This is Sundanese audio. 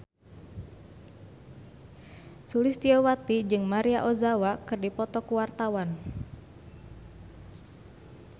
Sulistyowati jeung Maria Ozawa keur dipoto ku wartawan